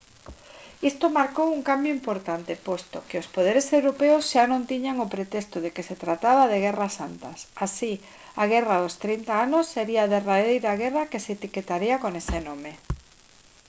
isto marcou un cambio importante posto que os poderes europeos xa non tiñan o pretexto de que se trataba de guerras santas así a guerra dos trinta anos sería a derradeira guerra que se etiquetaría con ese nome